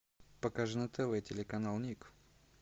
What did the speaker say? покажи на тв телеканал ник